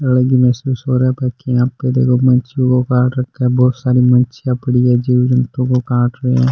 यहाँ पे देखो मच्छियों को काट रखा है बहुत सारी मछिया पड़ी है जीव जंतु को काट रे है।